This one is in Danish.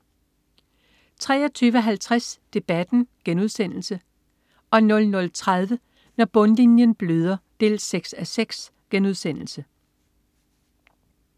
23.50 Debatten* 00.30 Når bundlinjen bløder 6:6*